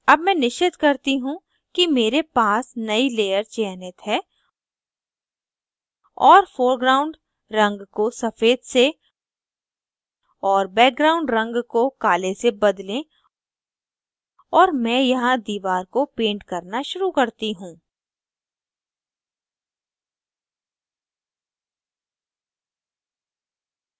अब मैं निश्चित करती हूँ कि मेरे पास नयी layer चयनित है और foreground रंग को सफ़ेद से और background रंग को काले से बदलें और मैं यहाँ दीवार को paint करना शुरू करती हूँ